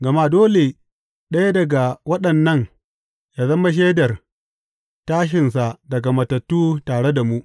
Gama dole ɗaya daga waɗannan ya zama shaidar tashinsa daga matattu tare da mu.